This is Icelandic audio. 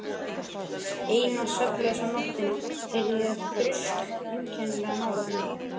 Eina svefnlausa nóttina heyrði ég þrusk einkennilega nálægt mér.